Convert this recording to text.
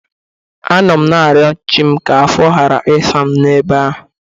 Anọ m na-ayọ chị m ka afọ ghara ịsa m ebe ahụ.